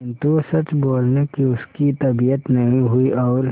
किंतु सच बोलने की उसकी तबीयत नहीं हुई और